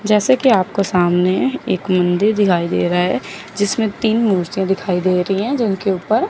जैसे कि आपको सामने एक मंदिर दिखाई दे रहा है जिसमें तीन मूर्ति दिखाई दे रही है जल के ऊपर।